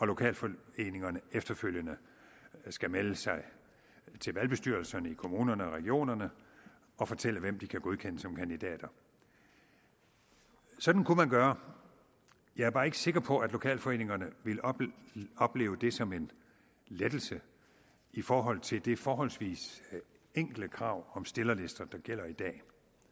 lokalforeningerne efterfølgende skal melde sig til valgbestyrelserne i kommunerne og regionerne og fortælle hvem de kan godkende som kandidater sådan kunne man gøre jeg er bare ikke sikker på at lokalforeningerne ville opleve det som en lettelse i forhold til det forholdsvis enkle krav om stillerlister der gælder i dag